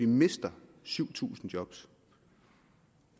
mister syv tusind job